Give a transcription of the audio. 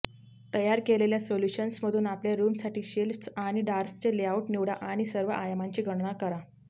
तयार केलेल्या सोल्यूशन्समधून आपल्या रूमसाठी शेल्फ्स आणि ड्रार्सचे लेआउट निवडा आणि सर्व आयामांची गणना करा